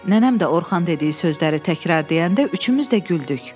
Nənəm də Orxan dediyi sözləri təkrar deyəndə üçümüz də güldük.